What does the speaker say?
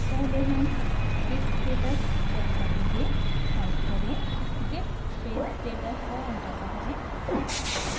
पहले हम git status check करेंगे टाइप करें git space status enter दबाएँ